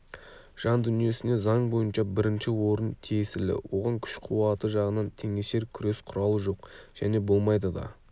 жан дүниесіне заң бойынша бірінші орын тиесілі оған күш қуаты жағынан теңесер күрес құралы жоқ және болмайды да